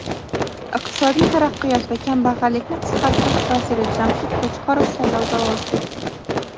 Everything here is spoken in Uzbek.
Iqtisodiy taraqqiyot va kambag‘allikni qisqartirish vaziri Jamshid Qo‘chqorov saylovda ovoz berdi.